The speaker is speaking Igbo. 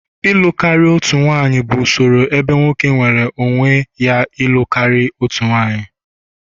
ịlụ karịa otu nwanyị bụ usoro ebe nwoke nweere onwe ya ịlụ karịa otu nwunye